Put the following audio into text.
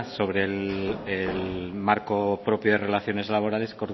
sobre el marco propio de relaciones laborales